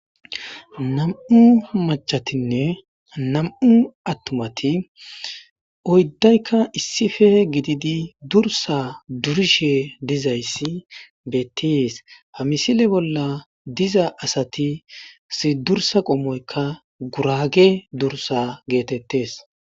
nam7u machatinne nam7u attumati oyddaykka issife gididi dursa durishe dizayssi betties ha misile bolla diza asati si dursa qommoykka gurage dursa geetettes